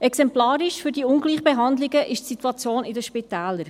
Exemplarisch für die Ungleichbehandlungen ist die Situation in den Spitälern.